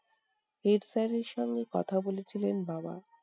head sir এর সঙ্গে কথা বলেছিলেন বাবা।